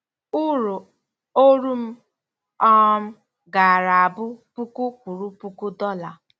Urụ oru m um gaara abụ puku kwuru puku dollar.